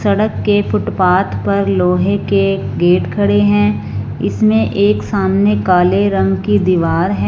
सड़क के फुटपाथ पर लोहे के गेट खड़े हैं इसमें एक सामने काले रंग की दीवार है।